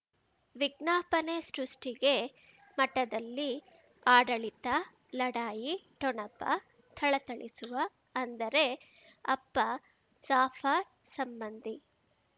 ವಿಜ್ಞಾಪನೆ ಸೃಷ್ಟಿಗೆ ಮಠದಲ್ಲಿ ಆಡಳಿತ ಲಢಾಯಿ ಠೊಣಪ ಥಳಥಳಿಸುವ ಅಂದರೆ ಅಪ್ಪ ಜಾಫರ್ ಸಂಬಂಧಿ